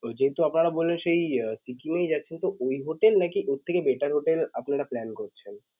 ওইযেটা আপনারা বললেন সেই সিকিম এই যাচ্ছেন তো ওই হোটেল নাকি ওর থেকে better হোটেল আপনারা plan করছেন.